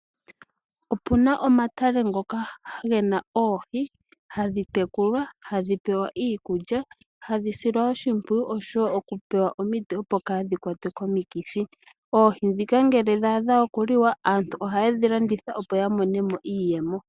Opuna omatale ngoka ge na oohi, ha dhi tekulwa, ha dhi pewa iikulya, ha dhi silwa oshimpwiyu osho wo ha dhi pewa omiti opo dhaa ha kwatwe komikithi. Oohi ndhika nge dha adha okuliwa, aantu oha ye dhi landitha opo ya monemo iiyemo.